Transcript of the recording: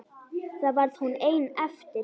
Þá varð hún ein eftir.